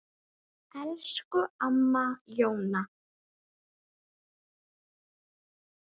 Elsku amma Jóna.